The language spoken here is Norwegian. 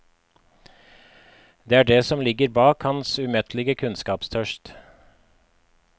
Det er det som ligger bak hans umettelige kunnskapstørst.